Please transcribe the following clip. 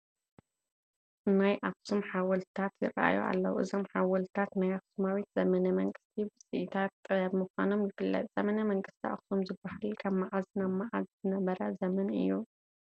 ናይ ኣኽሱም ሓወልትታት ይርአዩ ኣለዉ፡፡ እዞም ሓወልትታት ናይ ኣኽሱማዊት ዘመነ መንግስቲ ውፅኢታት ጥበብ ምዃኖም ይፍለጥ፡፡ ዘመነ መንግስቲ ኣኽሱም ዝበሃል ካብ መዓዝ ናብ መዓዝ ዝነበረ ዘመን እዩ?